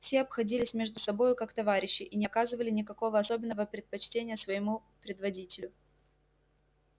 все обходились между собою как товарищи и не оказывали никакого особенного предпочтения своему предводителю